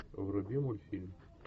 вруби мультфильм